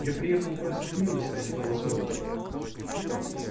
я приехала просить милости а не правосудия